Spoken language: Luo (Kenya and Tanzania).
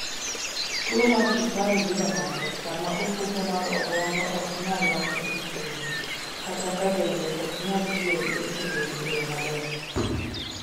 Tuwo mar sukari yudo ng'ato sama ofuko mar obwongo ok nyal loso insulin, kata ka dende ok nyal tiyo gi insulin e yo maber